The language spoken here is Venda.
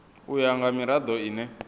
u ya nga mirado ine